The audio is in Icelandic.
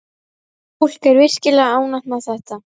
Fólk er virkilega ánægt með þetta.